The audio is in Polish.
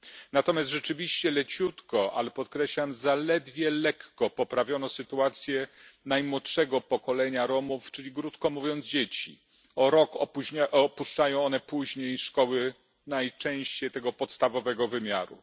Natomiast rzeczywiście leciutko ale podkreślam zaledwie lekko poprawiono sytuację najmłodszego pokolenia Romów, czyli krótko mówiąc dzieci. O rok później opuszczają one szkołę, najczęściej jednak podstawowego poziomu.